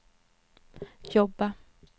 jobba